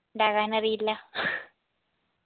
ഉണ്ടാക്കാനറിയില്ല